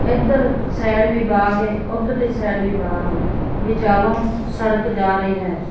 ਇੱਧਰ ਸਾਈਡ ਵੀ ਬਾਗ਼ ਏ ਉੱਧਰਲੀ ਸਾਈਡ ਵੀ ਬਾਗ਼ ਏ ਵਿਚਾਲੋਂ ਸੜਕ ਜਾ ਰਹੀ ਹੈ।